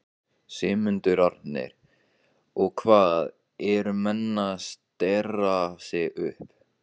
Sigmundur Ernir: Og hvað, eru menn að stera sig upp?